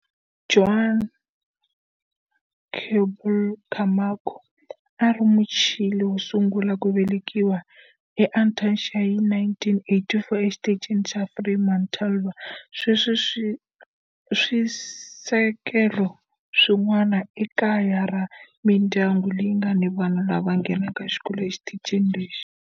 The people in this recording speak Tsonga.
Juan Pablo Camacho a ri Muchile wo sungula ku velekiwa eAntarctica hi 1984 eXitichini xa Frei Montalva. Sweswi swisekelo swin'wana i kaya ra mindyangu leyi nga ni vana lava nghenaka xikolo exitichini lexi.